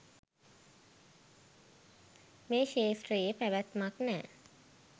මේ ක්ෂේත්‍රයේ පැවැත්මක් නෑ.